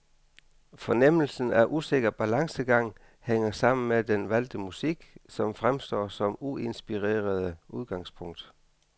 Fornemmelsen af usikker balancegang hænger sammen med den valgte musik, som fremstår som uinspirerende udgangspunkt.